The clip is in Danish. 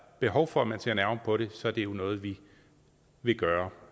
behov for at man ser nærmere på det så er det noget vi vil gøre